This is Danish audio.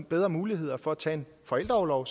bedre muligheder for at tage en forældreorlov